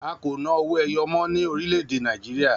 A kò ná owó ẹyọ mọ́ ní orílẹ̀ èdè Nàìjíríà